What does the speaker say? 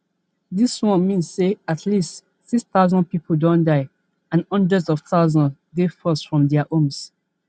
dis one mean say at least six thousand pipo don die and hundreds of thousands dey forced from dia homes